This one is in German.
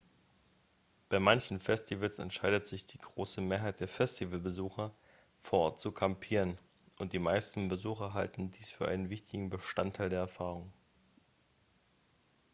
bei manchen festivals entscheidet sich die große mehrheit der festivalbesucher vor ort zu kampieren und die meisten besucher halten dies für einen wichtigen bestandteil der erfahrung